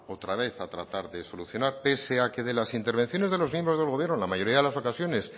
otra vez a tratar de solucionar pese a que de la intervenciones de los miembros del gobierno en la mayoría de la ocasiones